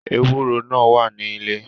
Eworo náà wà ní ilé.